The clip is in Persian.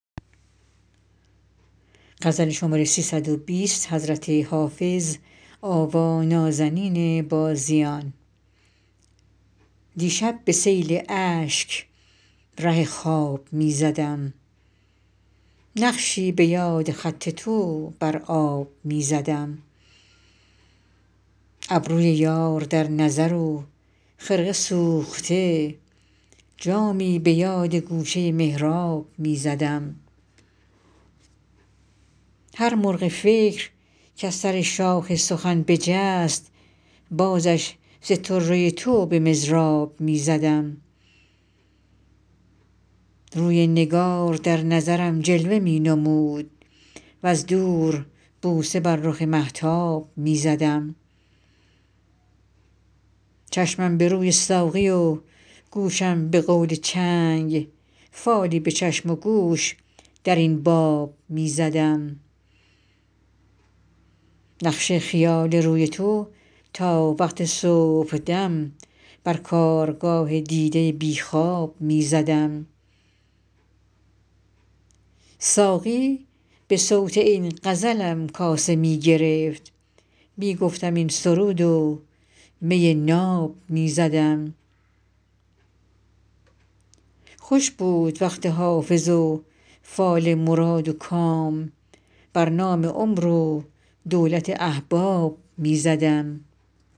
دیشب به سیل اشک ره خواب می زدم نقشی به یاد خط تو بر آب می زدم ابروی یار در نظر و خرقه سوخته جامی به یاد گوشه محراب می زدم هر مرغ فکر کز سر شاخ سخن بجست بازش ز طره تو به مضراب می زدم روی نگار در نظرم جلوه می نمود وز دور بوسه بر رخ مهتاب می زدم چشمم به روی ساقی و گوشم به قول چنگ فالی به چشم و گوش در این باب می زدم نقش خیال روی تو تا وقت صبحدم بر کارگاه دیده بی خواب می زدم ساقی به صوت این غزلم کاسه می گرفت می گفتم این سرود و می ناب می زدم خوش بود وقت حافظ و فال مراد و کام بر نام عمر و دولت احباب می زدم